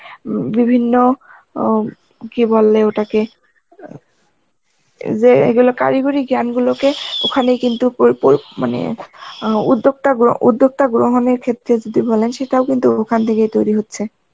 উম বিভিন্ন উম কি বলে ওটাকে, যে এই গুলো কারিগরী জ্ঞান গুলো কে ওখানে কিন্তু পোর পোর মানে অ্যাঁ উদ্যোক্তা গো~ উদ্যোক্তা গ্রহণের ক্ষেত্রে যদি বলেন সেটাও কিন্তু ওখান থেকেই তৈরি হচ্ছে